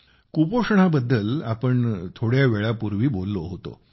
कुपोषणाबद्दल आपण काही काळापूर्वी बोललो होतो